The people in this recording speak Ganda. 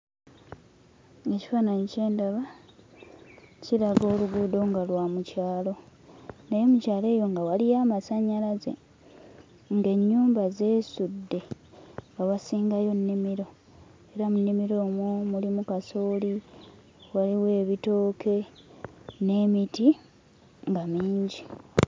Ekifaananyi kye ndaba kiraga oluguudo nga lwa mu kyalo. Naye mu kyalo eyo nga waliwo amasannyalaze, ng'ennyumba zeesudde, nga wasingayo nnimiro. Era mu nnimiro omwo mulimu kasooli, waliwo ebitooke n'emiti nga mingi.